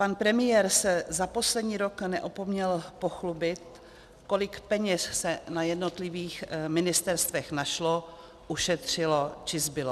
Pan premiér se za poslední rok neopomněl pochlubit, kolik peněz se na jednotlivých ministerstvech našlo, ušetřilo či zbylo.